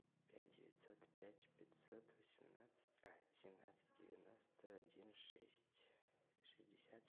пять девятьсот пять пятьсот восемнадцать а семнадцать девяносто один шесть шестьдесят